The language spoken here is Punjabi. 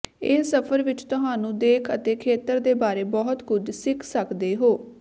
ਇਹ ਸਫ਼ਰ ਵਿੱਚ ਤੁਹਾਨੂੰ ਦੇਖ ਅਤੇ ਖੇਤਰ ਦੇ ਬਾਰੇ ਬਹੁਤ ਕੁਝ ਸਿੱਖ ਸਕਦੇ ਹੋ